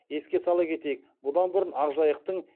еске сала кетейік бұдан бұрын ақжайықтың